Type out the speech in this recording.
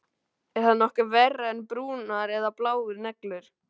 Er það nokkuð verra en brúnar eða bláar neglur?